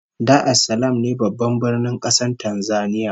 Dar es Salaam ne Babban Birnin kasar Tanzania